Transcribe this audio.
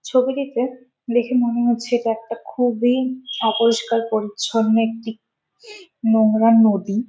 ছবি দেখে দেখে মনে হচ্ছে এটা একটা খুবই অপরিষ্কার পরিচ্ছন্ন একটি নোংরা নদী।